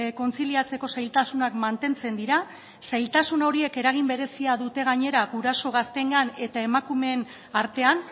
kontziliatzeko zailtasunak mantentzen dira zailtasun horiek eragin berezia dute gainera guraso gazteengan eta emakumeen artean